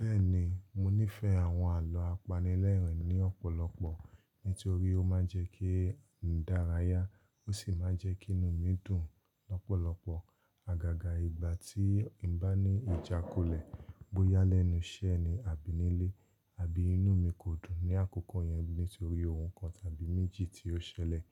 Bẹ́ẹ̀ni, mo nífẹ̀ẹ́ àwọn àlọ́ apanilẹ́rìn ni ọ̀pọ̀lọpọ̀ nitorí ó máa ń jẹ́ kí n dárayá ó sì máa ń jẹ́ kí inú mi dùn lọ́pọ̀lọpọ̀. Àgàgà ìgbà tí mo bá ní ìjákulẹ̀ bóyá lẹ́nu iṣẹ́ ni àbí nílé àbí inú mi kò dùn ní àkókò yẹn nítorí ohun kan tàbí méjì tí ó ṣẹlẹ̀,